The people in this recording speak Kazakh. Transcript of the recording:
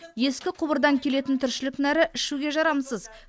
ескі құбырдан келетін тіршілік нәрі ішуге жарамсыз